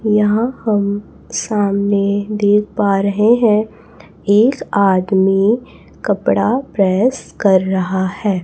यहां सामने हम देख पा रहे हैं एक आदमी कपड़ा प्रेस कर रहा है।